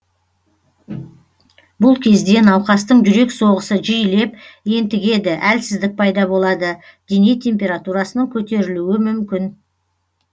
бұл кезде науқастың жүрек соғысы жиілеп ентігеді әлсіздік пайда болады дене температурасының көтерілуі мүмкін